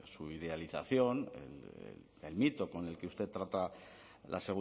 su idealización el mito con el que usted trata la